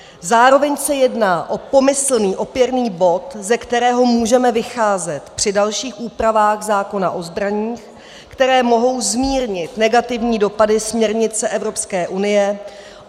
Zároveň se jedná o pomyslný opěrný bod, ze kterého můžeme vycházet při dalších úpravách zákona o zbraních, které mohou zmírnit negativní dopady směrnice Evropské unie.